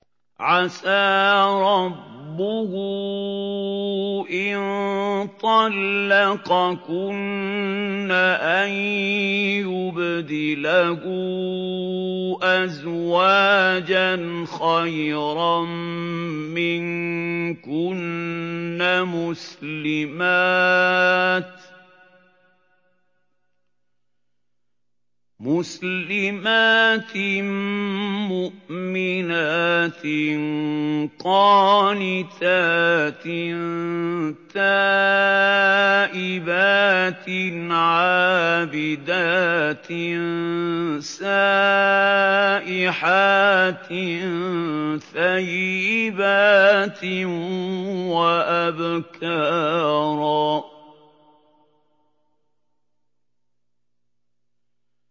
عَسَىٰ رَبُّهُ إِن طَلَّقَكُنَّ أَن يُبْدِلَهُ أَزْوَاجًا خَيْرًا مِّنكُنَّ مُسْلِمَاتٍ مُّؤْمِنَاتٍ قَانِتَاتٍ تَائِبَاتٍ عَابِدَاتٍ سَائِحَاتٍ ثَيِّبَاتٍ وَأَبْكَارًا